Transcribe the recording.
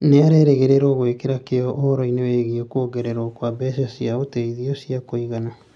Nĩ arerĩgĩrĩra gwĩkĩra kĩyo ũhoro-inĩ wĩgiĩ kuongererũo kwa mbeca cia ũteithio cia kũigana.